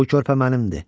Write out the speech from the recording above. Bu körpə mənimdi.